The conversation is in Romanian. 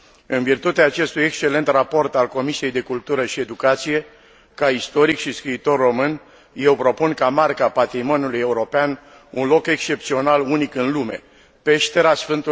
În virtutea acestui excelent raport al Comisiei pentru cultură și educație, ca istoric și scriitor român, eu propun ca marcă a patrimoniului european un loc excepțional, unic în lume Peștera Sf.